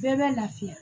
Bɛɛ bɛ lafiya